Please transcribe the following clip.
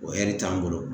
O ɛri t'an bolo